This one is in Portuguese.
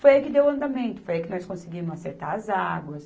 Foi aí que deu o andamento, foi aí que nós conseguimos acertar as águas.